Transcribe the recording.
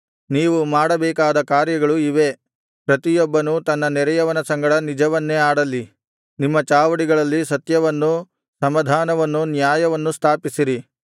ನೀವು ಮಾಡಬೇಕಾದ ಕಾರ್ಯಗಳು ಇವೇ ಪ್ರತಿಯೊಬ್ಬನೂ ತನ್ನ ನೆರೆಯವನ ಸಂಗಡ ನಿಜವನ್ನೇ ಆಡಲಿ ನಿಮ್ಮ ಚಾವಡಿಗಳಲ್ಲಿ ಸತ್ಯವನ್ನೂ ಸಮಾಧಾನವಾದ ನ್ಯಾಯವನ್ನೂ ಸ್ಥಾಪಿಸಿರಿ